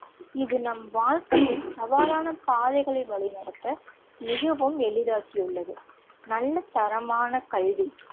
இது நம் வாழ்க்கையின் சவாலான பாதைகளை வழிநடத்த மிகவும் எளிதாக்கி உள்ளது. நல்ல தரமான கல்வி